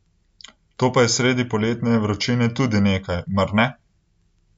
To pa je sredi poletne vročine tudi nekaj, mar ne?